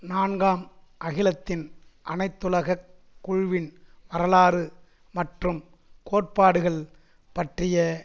நான்காம் அகிலத்தின் அனைத்துலக குழுவின் வரலாறு மற்றும் கோட்பாடுகள் பற்றிய